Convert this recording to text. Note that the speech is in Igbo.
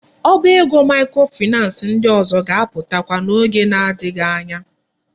Ọba ego microfinance ndị ọzọ ga-aputakwa na oge na adighi anya.